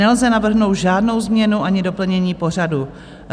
Nelze navrhnout žádnou změnu ani doplnění pořadu.